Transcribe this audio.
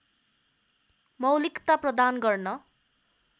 मौलिकता प्रदान गर्न